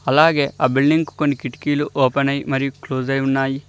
అలాగే ఆ బిల్డింగ్ కొన్ని కిటికీలు ఓపెన్ అయి మరియు క్లోజ్ అయి ఉన్నాయి.